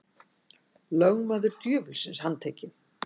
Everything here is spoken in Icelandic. Lögmaður djöfulsins handtekinn